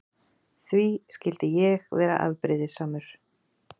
Því skyldi ég vera afbrýðisamur?